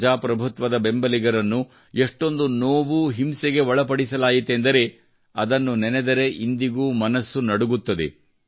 ಪ್ರಜಾಪ್ರಭುತ್ವದ ಬೆಂಬಲಿಗರನ್ನು ಎಷ್ಟೊಂದು ನೋವು ಹಿಂಸೆಗೆ ಒಳಪಡಿಸಲಾಯಿತೆಂದರೆ ಅದನ್ನು ನೆನೆದರೆ ಇಂದಿಗೂ ಮನಸ್ಸು ನಡುಗುತ್ತದೆ